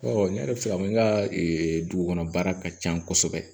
Ɔ ne yɛrɛ bɛ se ka fɔ n ka dugu kɔnɔ baara ka ca kosɛbɛ